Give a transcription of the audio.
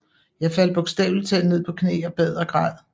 Jeg faldt bogstaveligt talt ned på knæ og bad og græd